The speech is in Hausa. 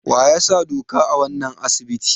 Waya sa doka a wanan asibiti?